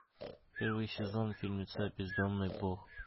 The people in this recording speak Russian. первый сезон фильмеца бездомный бог